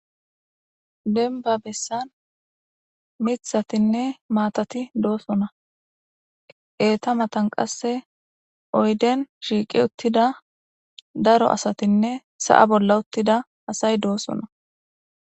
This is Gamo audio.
Denba bessan mithatinne maatati doosona eeta matan qasse oyden shiiqi uttida daro asatinne sa'a bolla uttida asay doosona.